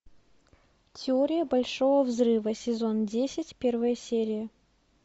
теория большого взрыва сезон десять первая серия